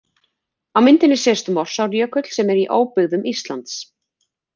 Á myndinni sést Morsárjökull sem er í óbyggðum Íslands.